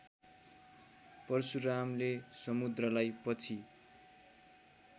परशुरामले समुद्रलाई पछि